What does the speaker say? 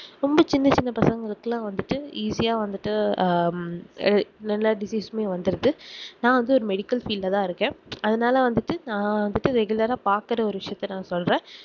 ரொம்ப சின்ன சின்ன பசங்களுக்குகெல்லாம் வந்துட்டு easy ஆஹ் வந்துட்டு எல்லா disease மே வந்துருது நா வந்து ஒரு medical field ல தான் இருக்கேன் அதுனால வந்துட்டு நா வந்துட்டு regular ஆஹ் பாக்குற ஒரு விசயத்த நான் சொல்றேன்